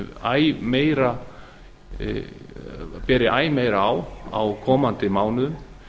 að beri æ meira á á komandi mánuðum